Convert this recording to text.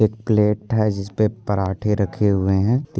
एक प्लेट है जिसपे पराठे रखे हुए है।